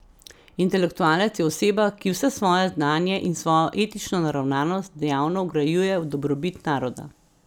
Intelektualec je oseba, ki vse svoje znanje in svojo etično naravnanost dejavno vgrajuje v dobrobit naroda.